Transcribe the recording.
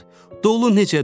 Dolu necə düşür?